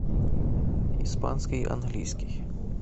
испанский английский